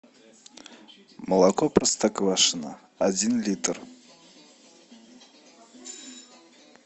молоко простоквашино один литр